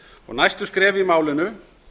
næstu skref í málinu